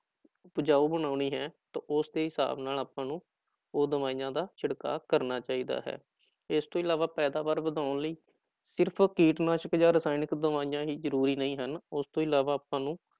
ਉਪਜਾਊ ਬਣਾਉਣੀ ਹੈ ਤਾਂ ਉਸ ਦੇ ਹਿਸਾਬ ਨਾਲ ਆਪਾਂ ਉਹ ਦਵਾਈਆਂ ਦਾ ਛਿੜਕਾ ਕਰਨਾ ਚਾਹੀਦਾ ਹੈ, ਇਸ ਤੋਂ ਇਲਾਵਾ ਪੈਦਾਵਾਰ ਵਧਾਉਣ ਲਈ ਸਿਰਫ਼ ਕੀਟਨਾਸ਼ਕ ਜਾਂ ਰਸਾਇਣਿਕ ਦਵਾਈਆਂ ਹੀ ਜ਼ਰੂਰੀ ਨਹੀਂ ਹਨ ਉਸ ਤੋਂ ਇਲਾਵਾ ਆਪਾਂ ਨੂੰ